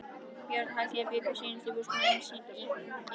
Björn og Hallgerður bjuggu seinustu búskaparár sín í Eskifjarðarseli.